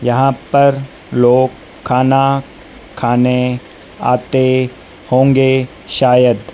यहां पर लोग खाना खाने आते होंगे शायद।